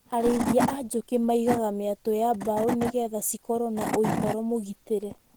Arĩithia a njũkĩ maigaga mĩatũ ya mbaũ nĩgetha cikorwo na ũikaro mũgitĩre.